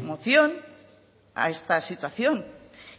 moción a esta situación